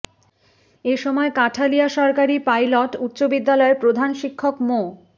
এ সময় কাঠালিয়া সরকারি পাইলট উচ্চ বিদ্যালয়ের প্রধান শিক্ষক মো